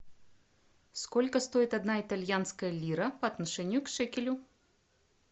сколько стоит одна итальянская лира по отношению к шекелю